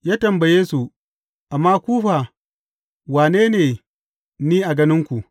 Ya tambaye su, Amma ku fa, wane ne ni a ganinku?